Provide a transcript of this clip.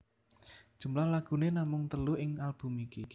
Jumlah lagune namung telu ing album iki